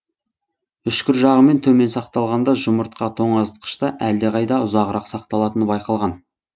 үшкір жағымен төмен сақталғанда жұмыртқа тоңазытқышта әлдеқайда ұзағырақ сақталатыны байқалған